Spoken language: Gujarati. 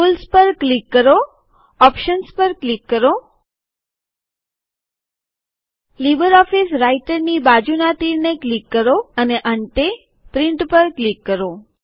ટુલ્સ પર ક્લિક કરો gt ઓપ્શન્સ પર ક્લિક કરો લીબરઓફીસ રાઈટર ની બાજુના તીરને ક્લિક કરો અને અંતે પ્રિન્ટ પર ક્લિક કરો